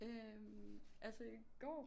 Øh altså i går